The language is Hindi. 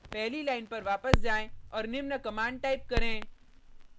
पहली लाइन पर वापस जाएँ और निम्न कमांड टाइप करें